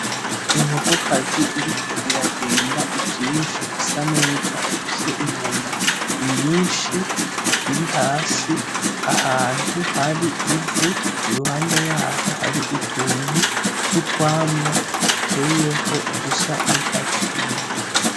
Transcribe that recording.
Inkokokazi iriko iragenda ivyishube isa neza ifise inyama nyinshi iri hasi ahantu har'ivu iruhande yaho har'utuntu tw'utwamwa duteyeho dusa n'icatsi kibisi.